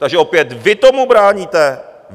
Takže opět vy tomu bráníte!